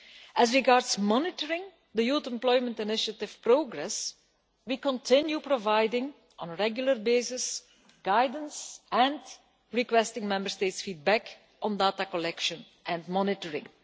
As regards monitoring the Youth Employment Initiative progress, we continue providing guidance on a regular basis and requesting Member States' feedback on data collection and monitoring.